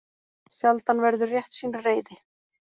Sjaldan verður réttsýn reiði.